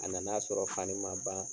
A nan'a sɔrɔ fani ma ban.